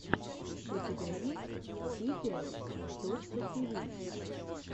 у тебя есть типиэл точка тиви